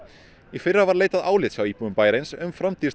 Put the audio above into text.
í fyrra var leitað álits hjá íbúum bæjarins um framtíð